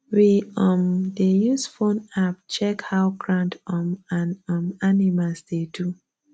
we um dey use phone app check how ground um and um animals dey do